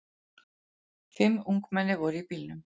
Fimm ungmenni voru í bílnum.